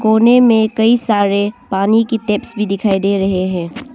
कोने में कई सारे पानी की टैप्स भी दिखाई दे रहे है।